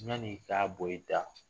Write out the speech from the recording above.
Yan'i ka bɔ i da